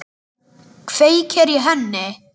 Kveikir í henni.